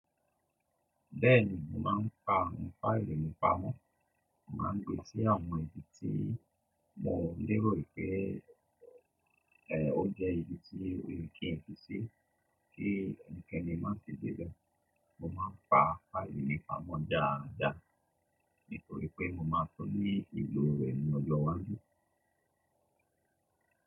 Bẹ́ẹ̀ni mò n pa fáìlì mi pa mọ̀, mò ma n gbé sí àwọn ibi tí mo lérò pé ó jẹ́ ibi tí oyè kí n fi sí, kí ẹnikẹ́ni má sì dé be. Mo má n pa fáìlì mibpa mọ̀ dáadáa nítorí pé mo máa tún ní ìlò rẹ̀ ní ọjọ́ iwájú.